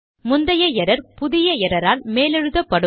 முந்தைய எரர் புதிய எரர் ஆல் மேலெழுதப்படும்